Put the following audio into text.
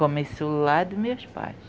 Começou lá dos meus pais.